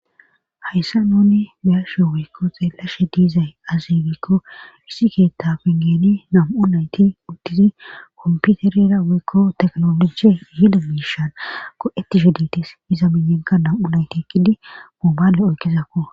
hayssa nuni biyashe wiykko xeellashe diizay azibikko issi keetta pengeni nam7u nayti uttizi komputerera wiykko teknoloji hida miishan ko7eti heditis iza miyenka nam7u naytikidi moobaale oykizakko